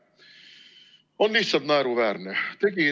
On lihtsalt naeruväärne.